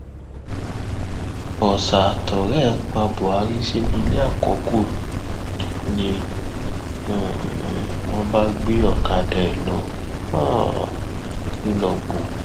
ọsà àtọrẹ ẹ pa buhari sínú ilé àkọkù ni um wọn bá gbé ọkadà ẹ lọ um nìlọgbọ